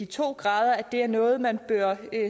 to grader det er noget man bør